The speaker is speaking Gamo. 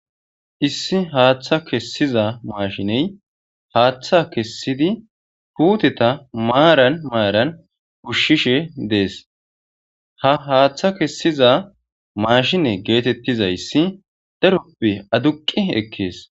Issi haaththa kessiza maashiney haaththa kessidi puuteta maaran maaran kushshishe dees ha haaththa kessiza maashine geetettizayssi daroppe aduqi ekkees